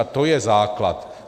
A to je základ.